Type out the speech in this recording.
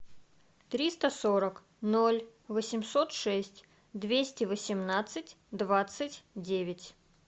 триста сорок ноль восемьсот шесть двести восемнадцать двадцать девять